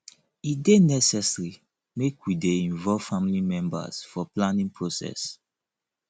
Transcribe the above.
e dey necessary make we dey involve family members for planning process